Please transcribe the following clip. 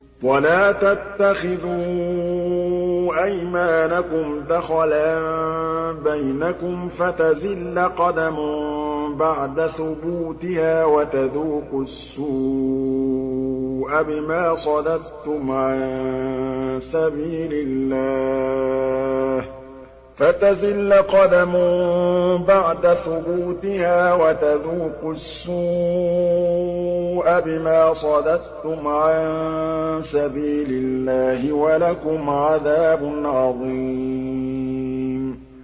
وَلَا تَتَّخِذُوا أَيْمَانَكُمْ دَخَلًا بَيْنَكُمْ فَتَزِلَّ قَدَمٌ بَعْدَ ثُبُوتِهَا وَتَذُوقُوا السُّوءَ بِمَا صَدَدتُّمْ عَن سَبِيلِ اللَّهِ ۖ وَلَكُمْ عَذَابٌ عَظِيمٌ